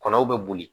Kɔnɔw bɛ boli